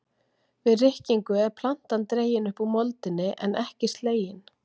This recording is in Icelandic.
Við rykkingu er plantan dregin upp úr moldinni en ekki slegin.